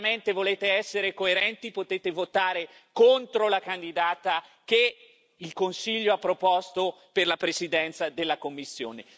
Se veramente volete essere coerenti, potete votare contro la candidata che il Consiglio ha proposto per la Presidenza della Commissione.